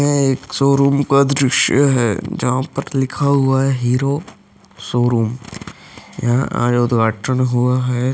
एक शोरूम का दृश्य है जहां पर लिखा हुआ है हीरो शोरूम या उद्घाटन हुआ है।